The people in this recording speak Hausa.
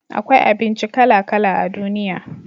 akwai abinci kala kala a duniya